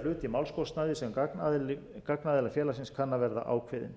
til að greiða hlut í málskostnaði sem gagnaðila félagsins kann að verða ákveðinn